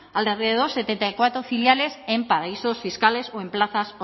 alrededor de setenta y cuatro filiales en paraísos fiscales o en plazas